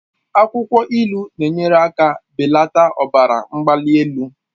Akwụkwọ ilu na-enyere aka belata ọbara mgbali elu.